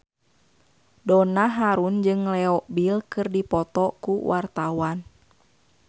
Donna Harun jeung Leo Bill keur dipoto ku wartawan